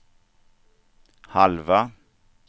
halva